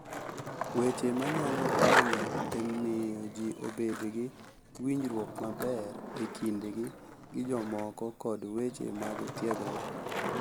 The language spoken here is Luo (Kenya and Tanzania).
Weche manyalo konyo e miyo ji obed gi winjruok maber e kindgi gi jomoko kod weche mag tiegruok